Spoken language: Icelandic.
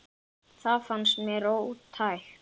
Það fannst mér ótækt.